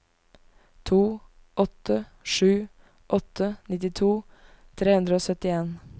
to åtte sju åtte nittito tre hundre og syttien